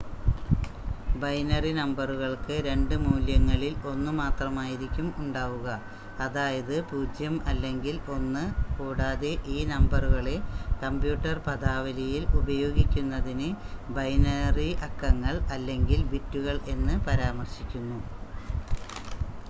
binary നമ്പറുകൾക്ക് രണ്ട് മൂല്യങ്ങളിൽ ഒന്ന് മാത്രമായിരിക്കും ഉണ്ടാവുക അതായത് 0 അല്ലെങ്കിൽ 1 കൂടാതെ ഈ നമ്പറുകളെ കമ്പ്യൂട്ടർ പദാവലിയിൽ ഉപായോഗിക്കുന്നതിന് ബൈനറി അക്കങ്ങൾ അല്ലെങ്കിൽ ബിറ്റുകൾ എന്ന് പരാമർശിക്കുന്നു